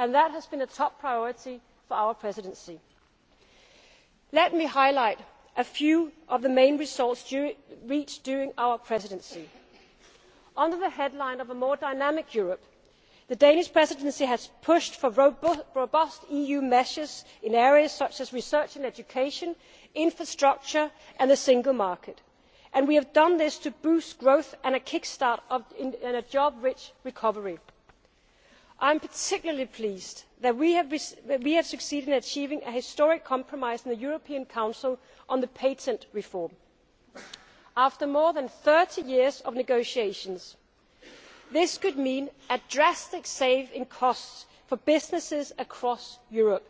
citizens and businesses, which has been a top priority for our Presidency. Let me highlight a few of the main results reached during our Presidency. Under the headline of a more dynamic Europe', the Danish Presidency has pushed for robust EU measures in areas such as research and education, infrastructure and the single market, and we have done this to boost growth and to kick start a job rich recovery. I am particularly pleased that we have succeeded in achieving a historic compromise in the European Council on the patent reform, after more than 30 years of negotiations. This could mean drastic cost savings for businesses across Europe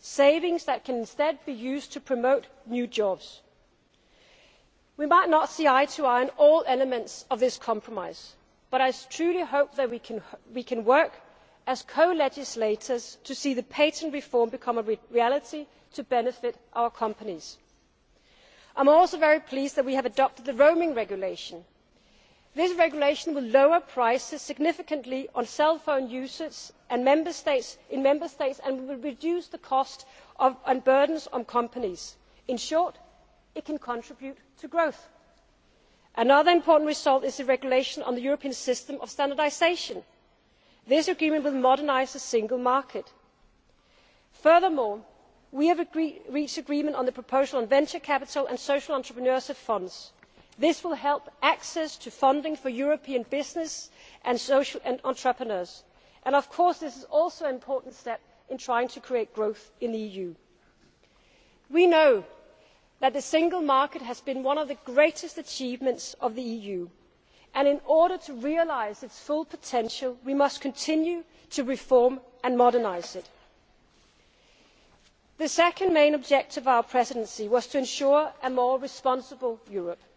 savings that can be used to promote new jobs. We may not see eye to eye on all elements of this compromise but I truly hope that we can work as co legislators to see the patent reform become a reality to benefit our companies. I am also very pleased that we have adopted the Roaming Regulation. This regulation will lower prices significantly for cellphone users in Member States and will reduce costs to and the burden on companies. In short, it can contribute to growth. Another important result is the regulation on the European system of standardisation. The agreement reached here will modernise the single market. Furthermore, we have reached agreement on the proposal on venture capital and social entrepreneurship funds. This will boost access to funding for European businesses and social entrepreneurs. Of course, this is also an important step in trying to create growth in the EU. We know that the single market has been one of the greatest achievements of the EU, and in order to realise its full potential we must continue to reform and modernise it. The second main objective of our Presidency